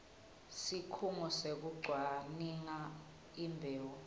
sikhungo sekucwaninga imbewu